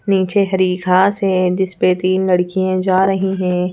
नीचे हरी घास है जिस पे तीन लड़कियां जा रही हैं।